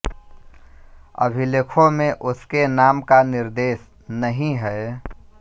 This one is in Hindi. अभिलेखों में उसके नाम का निर्देश नहीं है